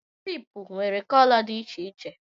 kịlịpù nwere kolo dị iche iche